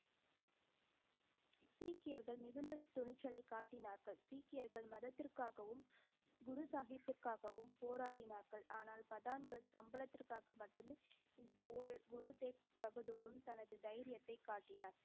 சீக்கியர்கள் மிகுந்த துணிச்சலை காட்டினார்கள். சீக்கியர்கள் மதத்திற்காகவும், குரு சாஹிப்பிற்காகவும் போராடினார்கள். ஆனால், பதான்கள் சம்பளத்திற்காக மட்டுமே, இந்தப் போரில் குரு தேவ் பகதூரும் தனது தைரியத்தைக் காட்டினார்.